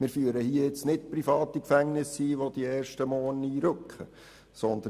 Wir führen hier keine privaten Gefängnisse ein, wo die ersten gleich morgen einrücken werden.